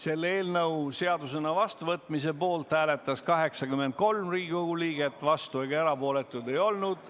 Selle eelnõu seadusena vastuvõtmise poolt hääletas 83 Riigikogu liiget, vastuolijaid ega erapooletuid ei olnud.